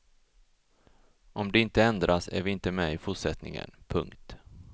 Om det inte ändras är vi inte med i fortsättningen. punkt